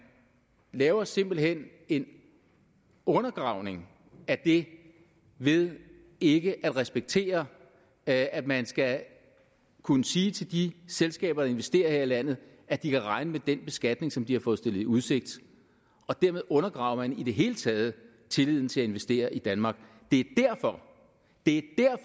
laver simpelt hen en undergravning af det ved ikke at respektere at at man skal kunne sige til de selskaber der investerer her i landet at de kan regne med den beskatning som de har fået stillet i udsigt dermed undergraver man i det hele taget tilliden til at investere i danmark det er